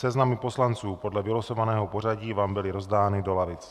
Seznamy poslanců podle vylosovaného pořadí vám byly rozdány do lavic.